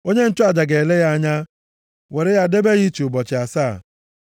Onye nchụaja ga-ele ya anya, were ya debe ya iche ụbọchị asaa.